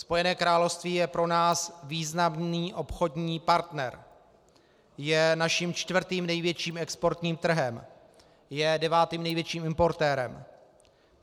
Spojené království je pro nás významný obchodní partner, je naším čtvrtým největším exportním trhem, je devátým největším importérem.